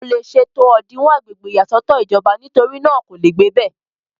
kò le ṣe tó òdinwọ̀n agbègbè ìyàsọ́tọ̀ ìjọba nítorí náà kò le gbé ibẹ̀